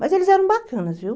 Mas eles eram bacanas, viu?